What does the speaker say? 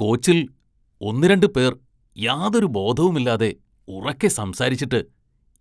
കോച്ചില്‍ ഒന്നുരണ്ട് പേര്‍ യാതൊരു ബോധവുമില്ലാതെ ഉറക്കെ സംസാരിച്ചിട്ട്